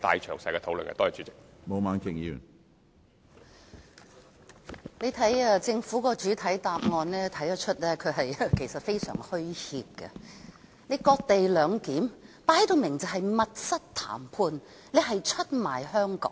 從政府的主體答覆可以看到，他們其實非常虛怯，這次"割地兩檢"，分明就是密室談判，出賣香港。